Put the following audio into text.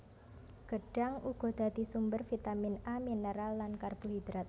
Gedhang uga dadi sumber vitamin A minêral lan karbohidrat